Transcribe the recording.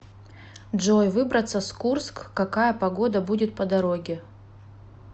джой выбраться с курск какая погода будет по дороге